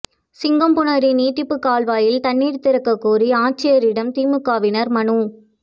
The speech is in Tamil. சிங்கம்புணரி நீட்டிப்புக் கால்வாயில் தண்ணீா் திறக்கக் கோரி ஆட்சியரிடம் திமுகவினா் மனு